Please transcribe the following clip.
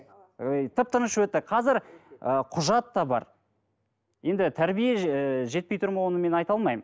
ы тып тыныш өтті қазір ы құжат та бар енді тәрбие ыыы жетпей тұр ма оны мен айта алмаймын